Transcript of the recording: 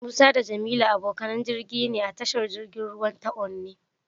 Musa da Jamilu abokanan jirgi ne a tashar jirgin ruwa ta Onne.